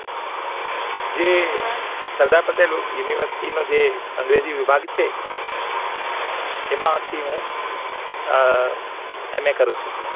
જે સરદાર પટેલ University નો જે અગ્રેજી વિભાગ છે એમાં થી હું અ NS કરું છું